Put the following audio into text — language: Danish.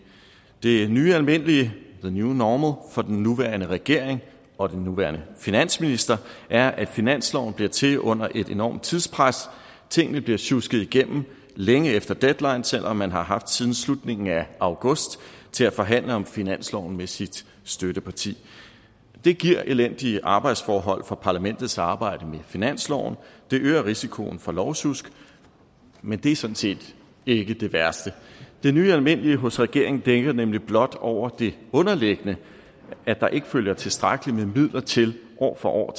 det nye almindelige the new normal for den nuværende regering og den nuværende finansminister er at finansloven bliver til under et enormt tidspres tingene bliver sjusket igennem længe efter deadline selv om man har haft siden slutningen af august til at forhandle om finansloven med sit støtteparti det giver elendige arbejdsforhold for parlamentets arbejde med finansloven det øger risikoen for lovsjusk men det er sådan set ikke det værste det nye almindelige hos regeringen dækker nemlig blot over det underliggende at der ikke følger tilstrækkeligt med midler til år for år